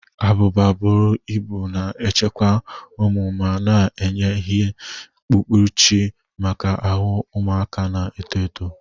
Abụba buru ibu na-echekwa ume ma na-enye ihe mkpuchi maka ahụ ụmụaka na-eto eto.